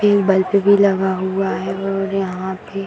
इ बल्ब भी लगा हुआ है और यहाँ पे --